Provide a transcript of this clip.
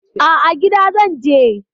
A'a, gida zan je.